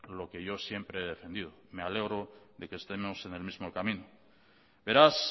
lo que yo siempre he defendido me alegro de que estemos en el mismo camino beraz